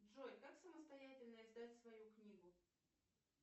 джой как самостоятельно издать свою книгу